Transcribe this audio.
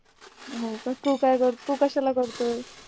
होका तू काय करतोय तू कशाला करतोय